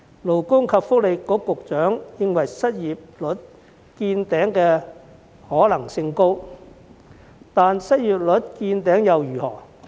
勞工及福利局局長認為失業率見頂的可能性高，但失業率見頂又如何？